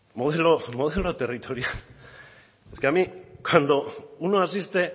modelo territorial es que a mí cuando uno asiste